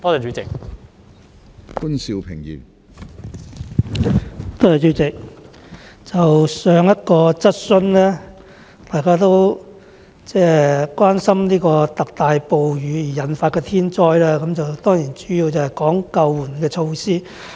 主席，在討論上一項質詢時，大家都關心特大暴雨引發的天災，並主要討論救援措施。